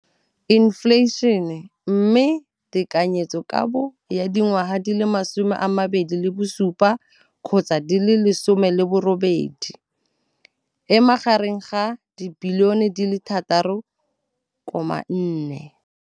Infleišene, mme tekanyetsokabo ya 2017 gotsa di le 18 e magareng ga 6.4 bilione.